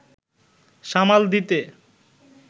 সামাল দিতে